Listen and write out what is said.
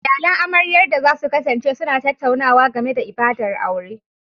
Iyalan amaryar da za su kasance suna tattaunawa game da ibadar aure